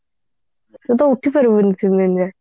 ତୁ ତ ଉଠିପାରିବୁନି ତୁ ଯେମିତିଆ